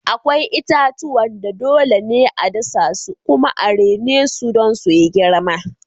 Akwai itatuwan da dole ne a dasa su kuma a rene su don su yi girma.